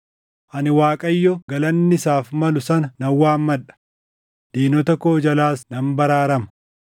“Ani Waaqayyo galanni isaaf malu sana nan waammadha; diinota koo jalaas nan baraarama.